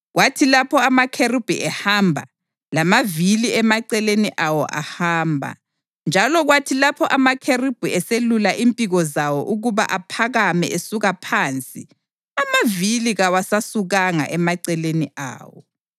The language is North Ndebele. Kwathi lapho amakherubhi ehamba, lamavili emaceleni awo ahamba; njalo kwathi lapho amakherubhi eselula impiko zawo ukuba aphakame esuka phansi, amavili kawasasukanga emaceleni awo.